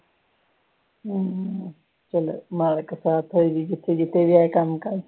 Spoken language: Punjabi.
ਹਮ ਚਲੋ ਮਾਲਕ ਸਾਥ ਹੈ ਹੀ ਜਿਥੇ ਜਿਥੇ ਵੀ ਜਾ ਕੇ ਕੰਮ ਕਰਨ